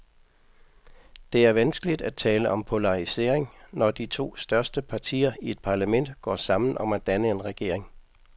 Det er vanskeligt at tale om polarisering, når de to største partier i et parlament går sammen om at danne en regering.